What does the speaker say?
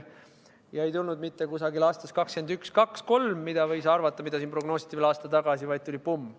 Ja see ei tulnud mitte aastal 2021, 2022 või 2023, mida võis arvata ja mida siin veel aasta tagasi prognoositi, vaid tuli pumm!